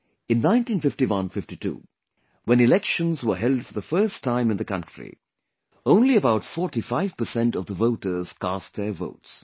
In 195152, when elections were held for the first time in the country, only about 45 percent of the voters cast their votes